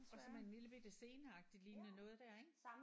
Og så med en lillebitte sceneagtigt lignende noget der ik